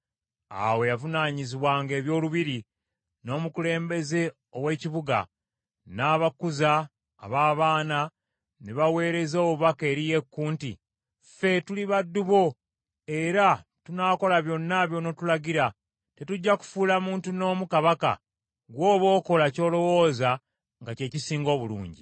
Awo eyavunaanyizibwanga ebyolubiri, n’omukulembeze ow’ekibuga, n’abakuza ab’abaana ne baweereza obubaka eri Yeeku nti, “Ffe tuli baddu bo era tunaakola byonna by’onootulagira. Tetujja kufuula muntu n’omu kabaka; gw’oba okola ky’olowooza nga kye kisinga obulungi.”